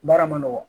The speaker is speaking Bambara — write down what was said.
Baara ma nɔgɔ